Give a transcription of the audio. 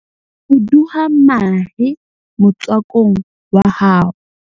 fuduwa mahe motswakong wa hao